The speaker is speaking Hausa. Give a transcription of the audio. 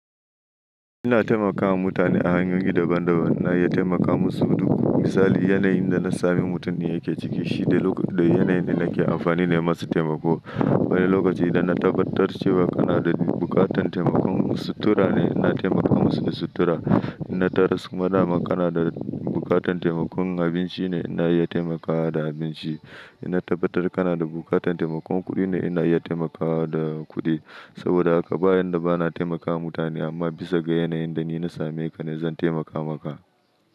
Ina taimakawa mutane a hanyoyi daban-daban na iya taimaka musu duk misali yanayin da na sami mutum ne yake ciki shine lokacin da yanayin da nake amfani nayi masa taimako. Wani lokaci idan na tabbatar cewa kana da buƙatar taimakon sutura ne ina taimaka musu da sutura. Ina taras kuma na ma kana da buƙatar taimakon abinci ne ina iya taimakawa da abinci. Ina tabbatar kana da buƙatar taimakon kuɗi ne ina iya taimakawa da kuɗi. Saboda haka ba yan da bana taimakawa mutane amma bisa ga yanayin da ni na same ka ne zan taimaka maka.